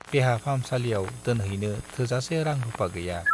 देहा फाहामसालियाव दोनहैनो थोजासे रां-रुपा गैया।